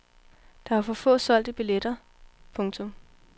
Der var for få solgte billetter. punktum